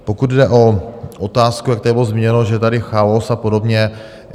Pokud jde o otázku, jak tady bylo zmíněno, že je tady chaos a podobně.